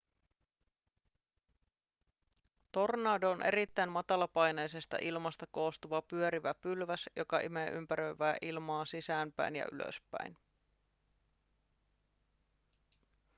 tornado on erittäin matalapaineisesta ilmasta koostuva pyörivä pylväs joka imee ympäröivää ilmaa sisäänpäin ja ylöspäin